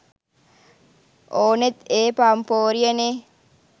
ඕනෙත් ඒ පම්පෝරිය නේ?